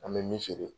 An bɛ min feere